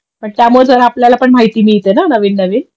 पण त्यामुळे तर आपल्याला पण माहिती मिळते ना नवीन नवीन